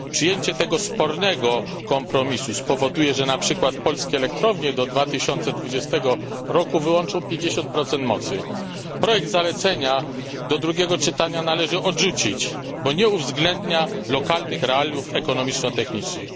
Przyjęcie tego spornego kompromisu spowoduje, że na przykład polskie elektrownie do 2020 roku wyłączą 50 mocy. Projekt zalecenia do drugiego czytania należy odrzucić, bo nie uwzględnia on lokalnych realiów ekonomiczno technicznych.